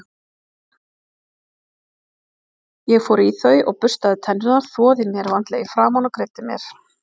Ég fór í þau og burstaði tennurnar, þvoði mér vandlega í framan og greiddi mér.